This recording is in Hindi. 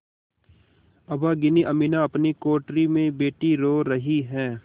अभागिनी अमीना अपनी कोठरी में बैठी रो रही है